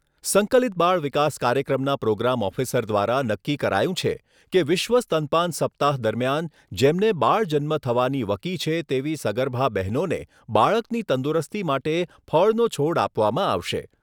સંકલિત બાળ વિકાસ કાર્યક્રમના પ્રોગ્રામ ઓફિસર દ્વારા નક્કી કરાયું છે, કે વિશ્વ સ્તનપાન સપ્તાહ દરમિયાન જેમને બાળ જન્મ થવાની વકી છે તેવી સગર્ભા બહેનોને બાળકની તંદુરસ્તી માટે ફળનો છોડ આપવામાં આવશે.